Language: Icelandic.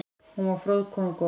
Hún var fróð kona og góð.